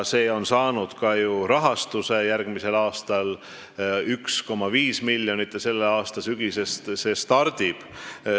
See on saanud ka ju rahastuse järgmiseks aastaks 1,5 miljonit ja selle aasta sügisest see stardib.